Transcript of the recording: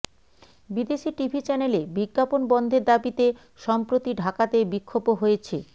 বিদেশি টিভি চ্যানেলে বিজ্ঞাপন বন্ধের দাবিতে সম্প্রতি ঢাকাতে বিক্ষোভও হয়েছে